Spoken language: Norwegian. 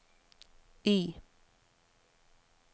I